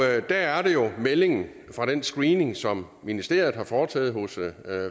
der er det jo meldingen fra den screening som ministeriet har foretaget hos